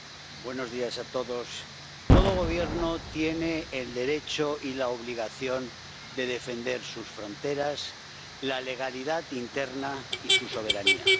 Señora presidenta, buenos días a todos todo Gobierno tiene el derecho y la obligación de defender sus fronteras, la legalidad interna y su soberanía.